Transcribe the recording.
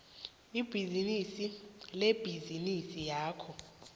ibhizinisi lebhizinisi yakho